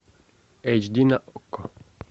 эйч ди на окко